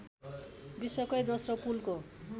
विश्वकै दोस्रो पुलको